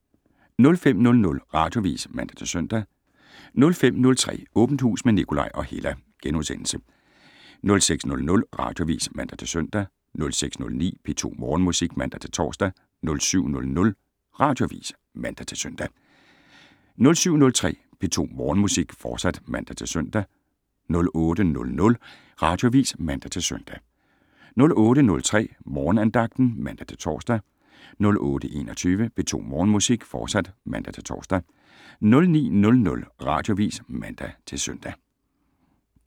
05:00: Radioavis (man-søn) 05:03: Åbent Hus med Nikolaj og Hella * 06:00: Radioavis (man-søn) 06:09: P2 Morgenmusik (man-tor) 07:00: Radioavis (man-søn) 07:03: P2 Morgenmusik, fortsat (man-søn) 08:00: Radioavis (man-søn) 08:03: Morgenandagten (man-tor) 08:21: P2 Morgenmusik, fortsat (man-tor) 09:00: Radioavis (man-søn)